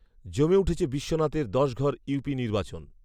জমে উঠেছে বিশ্বনাথের দশঘর ইউপি নির্বাচন